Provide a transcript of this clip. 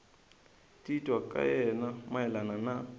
titwa ka yena mayelana na